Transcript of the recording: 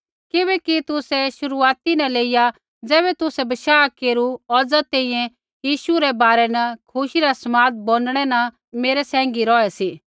किबैकि तुसै शुरूआती न लेइया ज़ैबै तुसै बशाह केरू औज़ा तैंईंयैं यीशु रै बारै न खुशी रा समाद बोंडणै न मेरै साथी रौहै सी